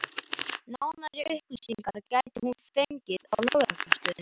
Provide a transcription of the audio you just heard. Nánari upplýsingar gæti hún fengið á lögreglustöðinni.